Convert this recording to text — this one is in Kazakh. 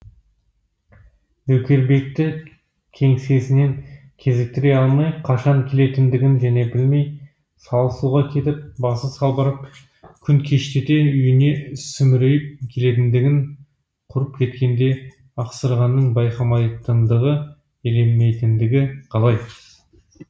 нөкербекті кеңсесінен кезіктіре алмай қашан келетіндігін және білмей салы суға кетіп басы салбырап күн кештете үйіне сүмірейіп келетіндігін құрып кеткенде ақсырғаның байқамайтындығы елемейтіндігі қалай